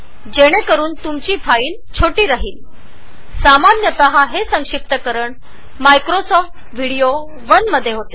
हे compressor Microsoft video १ मध्ये आहे